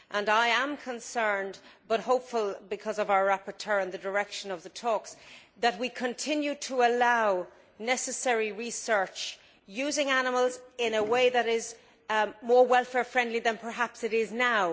I am concerned and hopeful, because of our rapporteur and the direction of the talks that we continue to allow necessary research using animals in a way that is more welfare friendly than perhaps it is now.